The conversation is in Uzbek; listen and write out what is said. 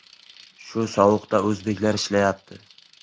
Shu sovuqda o‘zbeklar ishlayapti.